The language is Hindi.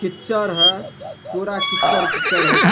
किच्चर है पुरा किच्चर किच्चर हो च --